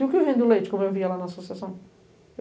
E o que vende o leite, como eu via lá na associação?